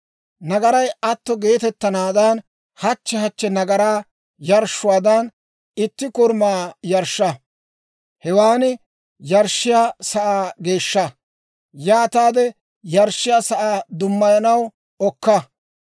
Nagaray atto geetettanaadan hachche hachche nagaraa yarshshuwaadan itti korumaa yarshsha. Hewaan yarshshiyaa sa'aa geeshsha; yaataade yarshshiyaa sa'aa dummayanaw okka.